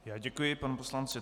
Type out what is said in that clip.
Já děkuji panu poslanci